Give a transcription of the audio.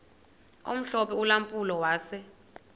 omhlophe ulampulo wase